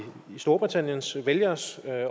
storbritanniens vælgeres